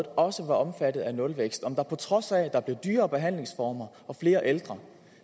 også var omfattet af nulvækst også på trods af at der blev dyrere behandlingsformer og flere ældre